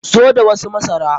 Zo da wasu masara!